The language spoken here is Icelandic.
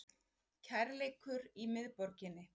Kærleikur í miðborginni